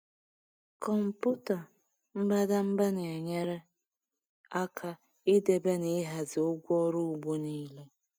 Kọmpụta mbadamba na-enyere aka ịdebe na ịhazie ụgwọ ọrụ ugbo niile.